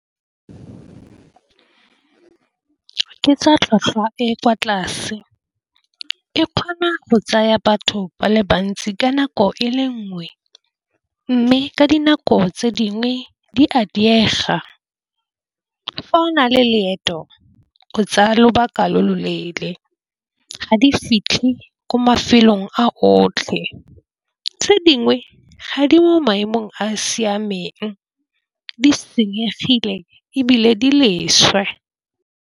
Ke tsa tlhwatlhwa e kwa tlase. E kgona go tsaya batho ba le bantsi ka nako e le nngwe, mme ka dinako tse dingwe di a diega fa o na le leeto o tsaya lobaka lo loleele, ga di fitlhe ko mafelong a otlhe. Tse dingwe ga di mo maemong a a siameng di senyegile ebile di leswe.